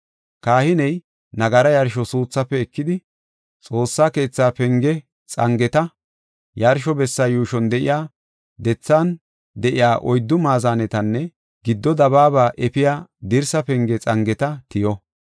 Kahiney nagaraa yarsho suuthaafe ekidi, Xoossaa keetha penge xangeta, yarsho bessa yuushon de7iya dethan de7iya oyddu maazanetanne giddo dabaaba efiya dirsa penge xangeta tiyo.